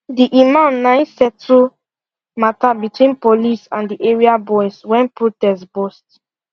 the imam nai settle matter between police and the area boys when protest burst